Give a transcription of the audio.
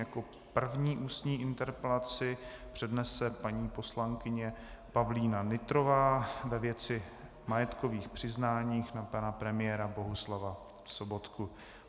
Jako první ústní interpelaci přednese paní poslankyně Pavlína Nytrová ve věci majetkových přiznání na pana premiéra Bohuslava Sobotku.